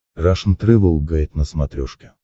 рашн тревел гайд на смотрешке